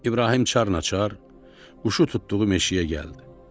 İbrahim çarnaçar quşu tutduğu meşəyə gəldi.